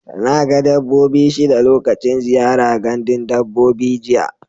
Na ga dabbobi shida lokacin ziyara gandun dabbobi jiya.